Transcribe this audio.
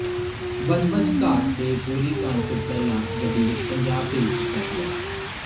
ਬੱਜਬੱਜ ਘਾਟ ਦੇ ਗੋਲੀਕਾਂਡ ਤੋਂ ਪਹਿਲਾਂ ਗੱਡੀ ਵਿੱਚ ਪੰਜਾਬ ਭੇਜ ਦਿੱਤਾ ਗਿਆ